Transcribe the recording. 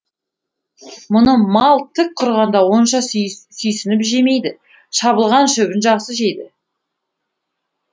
мұны мал тік тұрғанда онша сүйсініп жемейді шабылған шөбін жақсы жейді